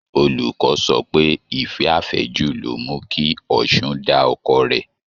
Olùkọ́ sọ pé ìfẹ́ àfẹ́jù loh mu kí Ọ̀ṣun da ọkọ rẹ̀